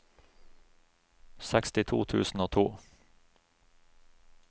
sekstito tusen og to